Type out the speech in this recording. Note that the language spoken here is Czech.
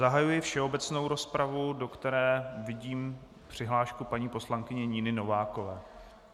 Zahajuji všeobecnou rozpravu, do které vidím přihlášku paní poslankyně Niny Novákové.